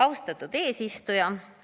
Austatud eesistuja!